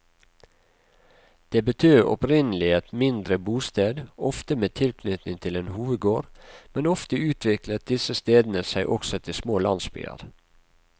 Dette betød opprinnelig et mindre bosted, ofte med tilknytning til en hovedgård, men ofte utviklet disse stedene seg også til små landsbyer.